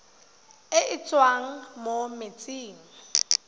e e tswang mo metsing